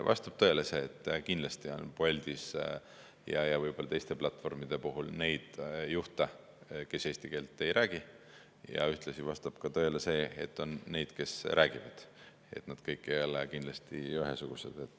Vastab tõele see, et kindlasti on Boltis ja võib-olla ka teiste platvormide puhul neid juhte, kes eesti keelt ei räägi, ja ühtlasi vastab tõele see, et on neid, kes räägivad – nad kõik ei ole kindlasti ühesugused.